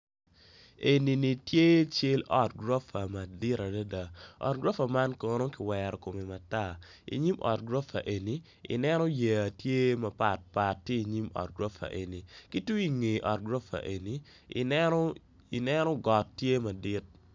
Enini tye cal ot gorofa madit adada ot gorofa man kono kiwero kome matar inyim ot gorofa eni ineno yeya tye mapatpat tye inyim ot gorofa eni itung inge gorofa eni ineno got tye madit.